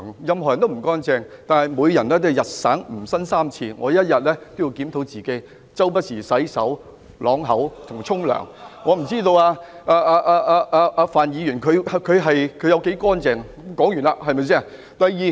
任何人都不乾淨，但每個人都應該"吾日三省吾身"，我每天都會自行檢討，不時洗手、漱口和洗澡，我不知道范議員他有多乾淨，這點說完。